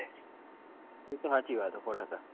એ તો સાચી વાત છે સો ટકા